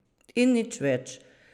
In nič več.